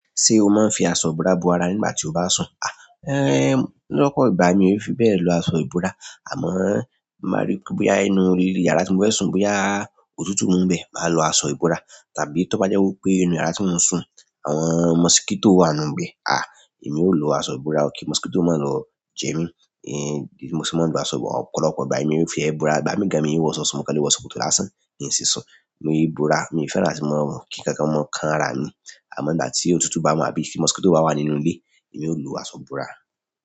Ṣé o máa ń fi aṣọ ìbora bo ara nígbà tí o bá ń sùn? Lọ́pọ̀ ìgbà mi ò n fi bẹ́ẹ̀ lo aṣọ ìbora, àmọ́ tí n bá ríi pé bóyá inú orí ilé yàrá tí mo fẹ́ sùn, bóyá òtútù mú ńbẹ̀, màá lo aṣọ ìbora. Tàbí tó bá jẹ́ wípé inú yàrá tí mò ń sùn àwọn mọ́síkétò wà nínú ibẹ̀, à, èmi ó lo aṣọ ìbora kí mọ́síkétò má lọ jẹ mí. Ẹn, ìdí tí mo se máa ń gba aṣọ, ọ̀pọ̀lọpọ̀ ìgbà. Èmi ò n ti ẹ̀ bora. Ìgbà mí gan mí ń wọṣọ sùn, mo kàn le wọ ṣòkòtò lásán. Kí n sì sùn. Mi è é bora. Mi ò fẹ́ràn àtí mọ sùn kí nkankan máa kan ara mi. Àmọ́ ìgbà tí òtútù bá mú àbí tí mọ́síkétò bá wà nínú ilé, èmi ó lo aṣọ ìbúra.